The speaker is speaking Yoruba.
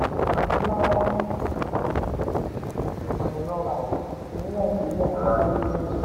anfaani nla wa ni imo-ero agbe nitori ounje